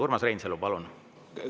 Urmas Reinsalu, palun!